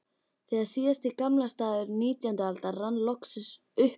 Þegar síðasti gamlársdagur nítjándu aldar rann loks upp í